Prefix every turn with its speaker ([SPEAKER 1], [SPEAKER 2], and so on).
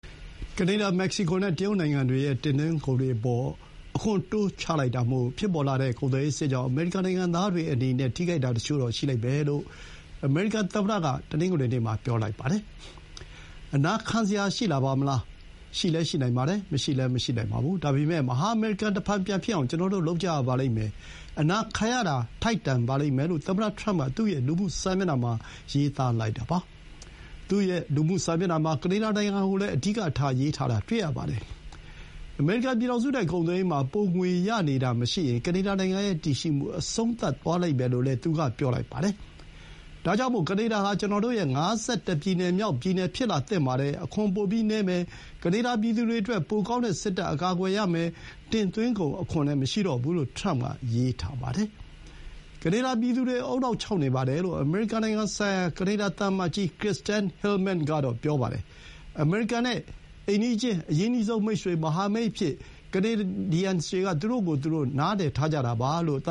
[SPEAKER 1] ကနေဒါ၊ မက္ကဆီကိုနဲ့ တရုတ်နိုင်ငံတွေရဲ့ တင်သွင်းကုန်အပေါ် အခွန် တိုးချလိုက်တာမို့ ဖြစ်ပေါ်လာတဲ့ ကုန်သွယ်ရေးစစ်ကြောင့် အမေရိကန် နိုင်ငံသားတွေအနေနဲ့ နစ်နာတာတချို့တော့ ခံစားရလိမ့်မယ်လို့ အမေရိကန်သမ္မတက တနင်္ဂနွေနေ့မှာ ပြောလိုက်ပါတယ်။ "အနာခံစရာ ရှိလာပါမလား။ ရှိလည်း ရှိနိုင်ပါတယ်။ မရှိလည်း မရှိနိုင်ပါဘူး။ ဒါပေမဲ့ မဟာအမေရိကန် တဖန်ပြန်ဖြစ်အောင် ကျွန်တော်တို့ လုပ်ကြရပါလိမ့်မယ်။ အနာခံရတာ ထိုက်တန်ပါလိမ့်မယ်" လို့ သမ္မတထရမ့်က သူ့ရဲ့ လူမှုစာမျက်နှာမှာ ရေးသားလိုက်ပါတယ်။ သူ့ရဲ့ လူမှုစာမျက်နှာမှာ ကနေဒါနိုင်ငံကို အဓိကထား ရေးထားတာကို တွေ့ရပါတယ်။ အမေရိကန်ပြည်ထောင်စုနဲ့ ကုန်သွယ်ရေးမှာ ပိုငွေရနေတာမရှိရင် ကနေဒါနိုင်ငံရဲ့ တည်ရှိမှု အဆုံးသတ်သွားလိမ့်မယ်လို့လည်း သူက ပြောလိုက်ပါတယ်။ "ဒါကြောင့်မို့ ကနေဒါဟာ ကျွန်တော်တို့ရဲ့ ၅၁ ပြည်နယ်မြောက် ပြည်နယ် ဖြစ်လာသင့်ပါတယ်။ အခွန်ပိုပြီးနည်းမယ်။ ကနေဒါ ပြည်သူတွေအတွက် ပိုကောင်းတဲ့ စစ်တပ် အကာအကွယ်ရမယ်။ တင်သွင်းကုန်အခွန်လည်း မရှိတော့ဘူး" လို့ ထရမ့်က ရေးထားပါတယ်။ ကနေဒါပြည်သူတွေ ဦးနှောက်ခြောက်နေပါတယ်လို့ အမေရိကန်နိုင်ငံဆိုင်ရာ ကနေဒါ သံအမတ်ကြီး Kirsten Hillman ကတော့ ပြောပါတယ်။ အမေရိကန်ရဲ့ အိမ်နီးချင်း၊ အရင်းနှီးဆုံးမိတ်ဆွေ၊ မဟာမိတ်အဖြစ် သူတို့က သူတို့ကိုယ်သူတို့
[SPEAKER 2] မြင်ကြတာပါလို့ သ